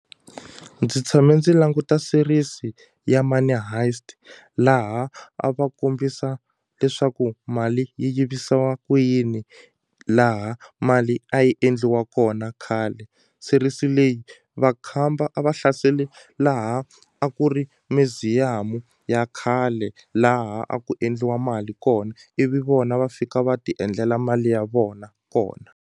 Ndzi tshame ndzi languta series ya Money Heist laha a va kombisa leswaku mali yi yivisiwa ku yini laha mali a yi endliwa kona khale series leyi vakhamba a va hlasele laha a ku ri museum-u ya khale laha a ku endliwa mali kona ivi vona va fika va ti endlela mali ya vona kona.